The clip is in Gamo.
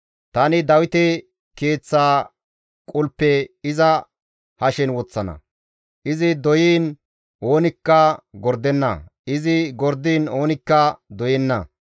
Tani Dawite keeththa qulpe iza hashen woththana; izi doyiin oonikka gordenna; izi gordiin oonikka doyenna.